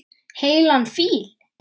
Heilan fíl.